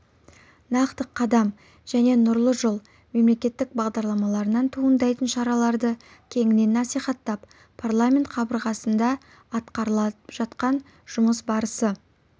нақты қадам және нұрлы жол мемлекеттік бағдарламаларынан туындайтын шараларды кеңінен насихаттап парламент қабырғасында атқарылып жатқан жұмыс барысы